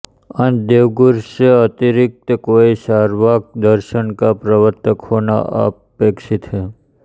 अत देवगुरु से अतिरिक्त कोई चार्वाक दर्शन का प्रवर्त्तक होना अपेक्षित है